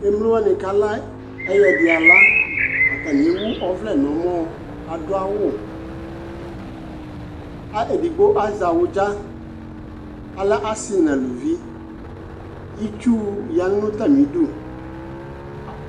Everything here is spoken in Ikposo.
Emlowanɩ kala ɛ ɛyɛdɩala, atanï ewu ɔvlɛ 'n'ǝmɔ Adʋ awʋ, ka edigbo azɛ awʋdza, alɛ asɩ n'aluvi Itsu ya n'atamidu